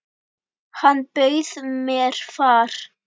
Hann bauð mér far.